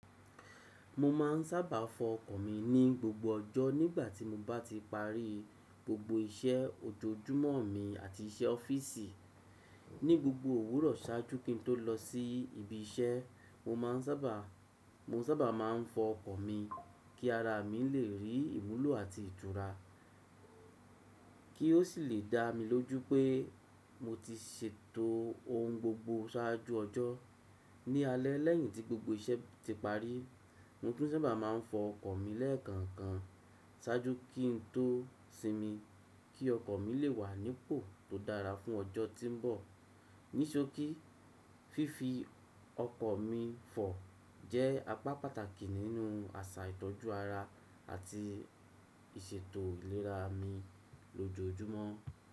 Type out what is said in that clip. Mo máà n sábà fọ ọkọ̀ mi ní gbogbo ọjọ́ nígbàtí mo bá ti parí gbogbo iṣẹ́ ọ̀jojúmọ́ mi àti iṣẹ́ ọ́fíìsì. Ní gbogbo òwúrọ̀ ṣáájú kí n tó lọ sí ibi iṣẹ́, mo sábà má n fọ ọkọ̀ mi kí ara mi lè rí ìwúlò àti ìtura, kí ó sì lè dá mi lójú pé mo ti ṣètò ohun gbogbo ṣáájú ọjọ́. Ní alẹ́ lẹ́yìn tí gbogbo iṣẹ́ ti parí, mo tún sábà má n fọ ọkọ̀ mi lẹ́ẹ̀kọ̀ọ̀kan ṣáájú kí n tó sinmi, kí ọkọ̀ mi lè wà nípò tó dára fún ọjọ́ tí ń bọ̀. Ní ṣookì, fífi ọkọ̀ mi fọ jẹ́ apá pàtàkì nínú àṣà ìtọ́jú ara àti ìṣètò ìlera mi lójoojúmọ́.